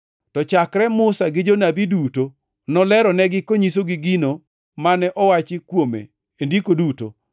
To chakre Musa gi Jonabi duto, noleronigi konyisogi gino mane owachi kuome e ndiko duto.